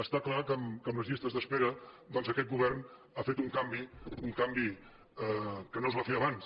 està clar que amb les llistes d’espe·ra doncs aquest govern ha fet un canvi un canvi que no es va fer abans